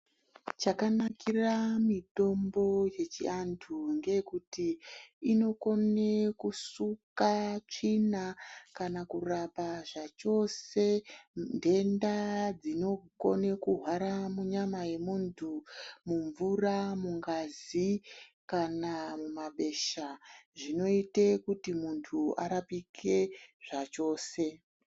Chakanakira mitombo yechiantu ngeekuti inokone kusuka tsvina, kana kurapa zvachose nhenda dzinokone kuhwara munyama yemuntu ,mumvura, mungazi kana mumabesha zvinoite kuti muntu arapike zvachose.